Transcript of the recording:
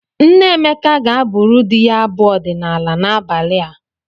Nne Emeka ga-abụrụ di ya abụ ọdịnaala n'abalị a.